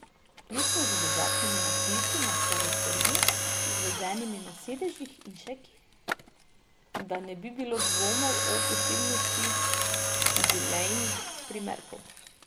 Vključno z dodatnimi napisi na karoseriji, izvezenimi na sedežih in še kje, da ne bi bilo dvomov o posebnosti jubilejnih primerkov.